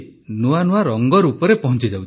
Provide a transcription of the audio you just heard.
ନୂଆ ନୂଆ ରଙ୍ଗରୂପରେ ପହଞ୍ଚିଯାଉଛି